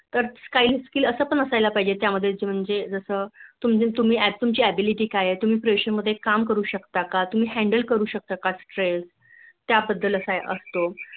तर काही skill असायली पाहिजे त्या मध्ये जस तुमची Ability काय तूम्ही Pressure मध्ये काम करू शकता का तुम्ही Handle करू शकता ता का Stress त्या बद्द्दल असतो